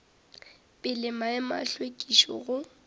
pele maemo a hlwekišo go